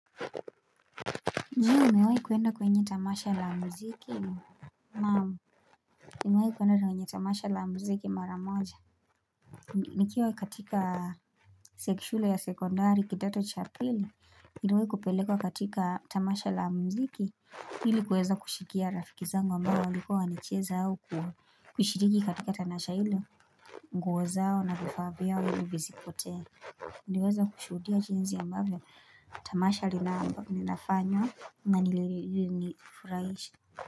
Je umewahi kuenda kwenye tamasha la mziki? Naam, nimewahi kuenda kwenye tamasha la mziki mara moja. Naam, nimewahi kuenda kwenye tamasha la mziki mara moja. Nikiwewe kupelekwa katika tamasha la mziki. Ili kuweza kushikia rafikizangu ambao walikuwa wanacheza au kushiriki katika tanasha ili. Nguo zao na vifaa vyao ili visipotee. Niliweza kushuhudia jinsi ambavyo Tamasha lina ambavyo linafanywa na linifurahisha.